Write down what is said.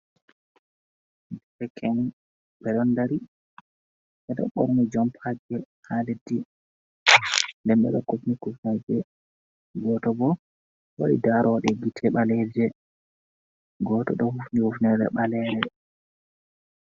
Derke'en, ɓe do ndari ɓe do borni jompagi ha leddi. den ɓe do kufni kifneje gooto bo do waɗi darode gite baleeje goto do hifni hifnere ɓalere.